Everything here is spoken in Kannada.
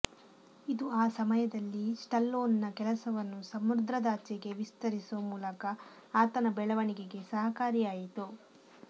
ಇದು ಆ ಸಮಯದಲ್ಲಿ ಸ್ಟಲ್ಲೋನ್ನ ಕೆಲಸವನ್ನು ಸಮುದ್ರದಾಚೆಗೆ ವಿಸ್ತರಿಸುವ ಮೂಲಕ ಆತನ ಬೆಳವಣಿಗೆಗೆ ಸಹಕಾರಿಯಾಯಿತು